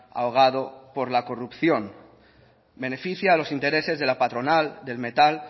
ahogado por la corrupción beneficia a los intereses de la patronal del metal